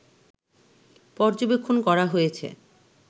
পর্যবেক্ষণ করা হয়েছে